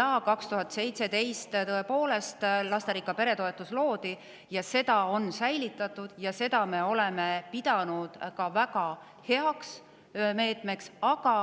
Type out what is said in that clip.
Aastal 2017 tõepoolest loodi lasterikka pere toetus, seda on säilitatud ja seda me oleme pidanud väga heaks meetmeks, aga